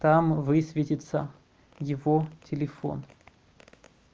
там высветится его телефон